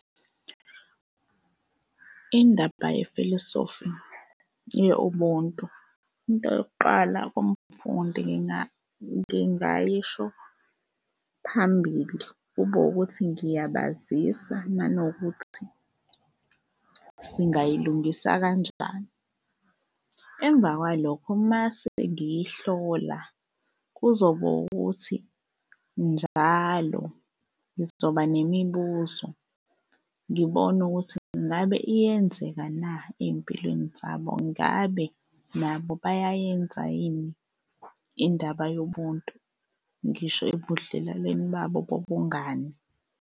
Indaba yefilosofi ye-ubuntu, into yokuqala kumfundi ngingayisho phambili kube wukuthi ngiyabazisa nanokuthi singayilungisa kanjani. Emva kwalokho mase ngiyihlola kuzoba ukuthi njalo ngizoba nemibuzo ngibone ukuthi ingabe iyenzeka na ey'mpilweni zabo. Ngabe nabo bayayenza yini indaba yobuntu? Ngisho ebudlelwaleni babo bobungani.